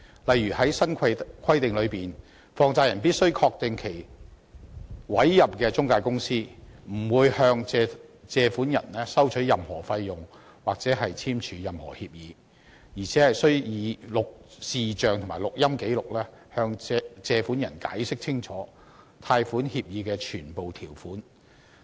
例如，在新規定下，放債人必須確定其委任的中介公司不會向借款人收取任何費用或簽署任何協議，而且須以視像和錄音記錄，向借款人清楚解釋貸款協議的全部條款。